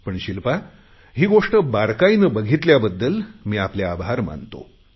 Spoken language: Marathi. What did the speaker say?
पण शिल्पा ही गोष्ट बारकाईने बघितल्याबद्दल मी आपले आभार मानतो